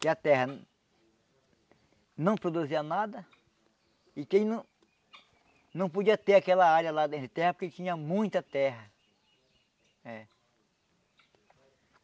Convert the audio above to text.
Que a terra não produzia nada e quem não não podia ter aquela área lá dentro de terra porque tinha muita terra. É.